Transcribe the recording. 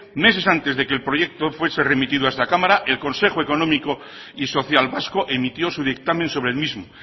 meses antes de que el proyecto fuese remitido a esta cámara el consejo económico y social vasco emitió su dictamen sobre el mismo